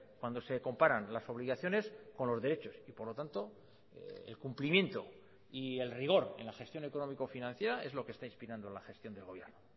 cuando se comparan las obligaciones con los derechos y por lo tanto el cumplimiento y el rigor en la gestión económico financiera es lo que está inspirando la gestión del gobierno